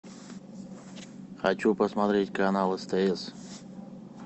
хочу посмотреть канал стс